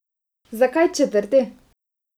Zakaj četrti?